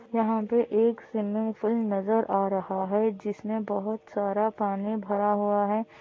यहाँ पे एक स्विमिंग पूल नज़र आ रहा है जिसमे बहुत सारा पानी भरा हुआ है।